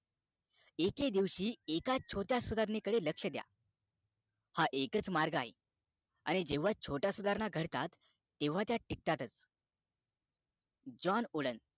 एके दिवशी एका छोट्या सुधारणेकडे लक्ष द्या हा एकाच मार्ग आहे आणि जेव्हा छोट्या सुधारणा घडत तेव्हा त्या टिकतातच jone udean